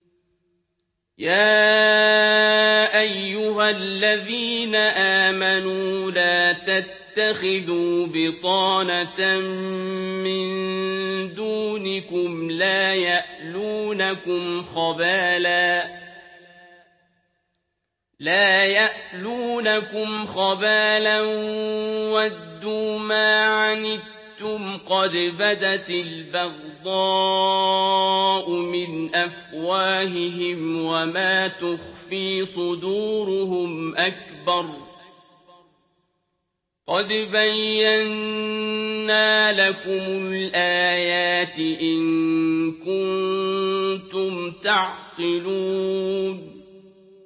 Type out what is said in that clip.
يَا أَيُّهَا الَّذِينَ آمَنُوا لَا تَتَّخِذُوا بِطَانَةً مِّن دُونِكُمْ لَا يَأْلُونَكُمْ خَبَالًا وَدُّوا مَا عَنِتُّمْ قَدْ بَدَتِ الْبَغْضَاءُ مِنْ أَفْوَاهِهِمْ وَمَا تُخْفِي صُدُورُهُمْ أَكْبَرُ ۚ قَدْ بَيَّنَّا لَكُمُ الْآيَاتِ ۖ إِن كُنتُمْ تَعْقِلُونَ